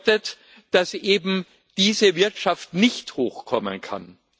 Das bedeutet, dass eben diese Wirtschaft nicht hochkommen kann.